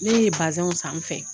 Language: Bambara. Ne ye bazɛnw san n fɛ